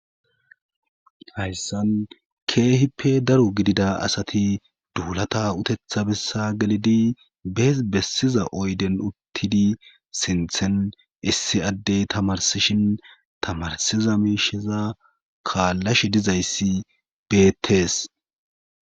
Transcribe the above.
Hayssan keehippe daro gidida asati duulata utetha bessa gelidi bees bessiza oyden uttidi sinthen issi addey tamarsishin tamarsiza miishiza kaallashe dizayssi beettees